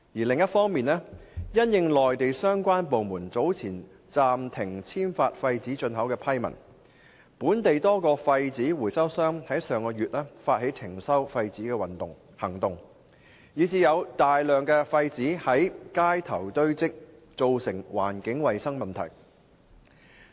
另一方面，因應內地相關部門早前暫停簽發廢紙進口批文，本地多個廢紙回收商在上月發起停收廢紙行動，以致有大量廢紙在街頭堆積，造成環境衞生問題。